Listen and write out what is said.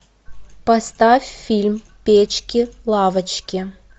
поставь фильм печки лавочки